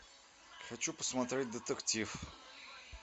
хочу посмотреть детектив